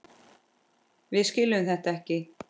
Við skiljum þetta ekki.